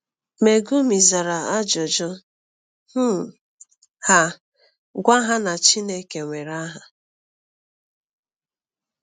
Megumi zara ajụjụ um ha, gwa ha na Chineke nwere aha.